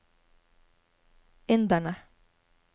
inderne